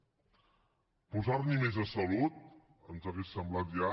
posar n’hi més a salut ens hauria semblat ja